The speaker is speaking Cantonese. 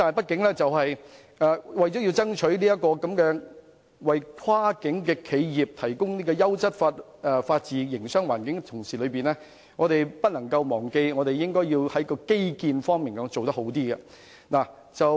然而，在爭取為跨境企業提供優質法治營商環境的同時，我們不應忘記做好基建方面。